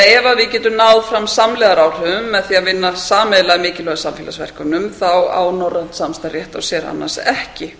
ef við getum náð fram samlegðaráhrifum með því að vinna sameiginlega að mikilvægum samfélagsverkefnum á norrænt samstarf rétt á sér annars ekki